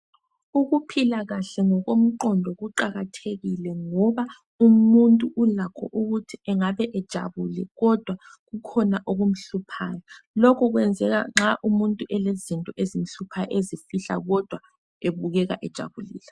Ukuphila kahle ngokomqondo kuqakathekile ngoba umuntu ulakho ukuthi engabe ejabule kodwa kukhona okumhluphayo lokhu kwenzeka nxa umuntu elezinto ezimhluphayo ezifihla kodwa ebukeka ejabulile.